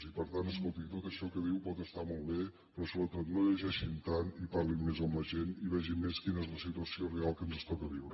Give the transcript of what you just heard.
i per tant escolti tot això que diu pot estar molt bé però sobretot no llegei·xin tant i parlin més amb la gent i vegin més quina és la situació real que ens toca viure